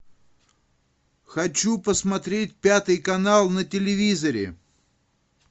хочу посмотреть пятый канал на телевизоре